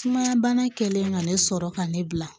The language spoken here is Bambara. Sumaya bana kɛlen ka ne sɔrɔ ka ne bila